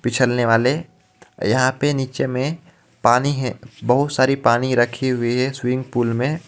पिछलने वाले यहाँ पे निचे मे पानी हे बहुत सारी पानी रखी हुई हे स्विंग पूल मे.